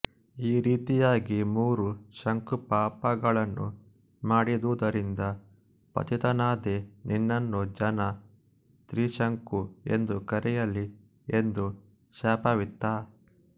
ಈ ರೀತಿಯಾಗಿ ಮೂರು ಶಂಕು ಪಾಪ ಗಳನ್ನು ಮಾಡಿದುದರಿಂದ ಪತಿತನಾದೆ ನಿನ್ನನ್ನು ಜನ ತ್ರಿಶಂಕು ಎಂದು ಕರೆಯಲಿ ಎಂದು ಶಾಪವಿತ್ತ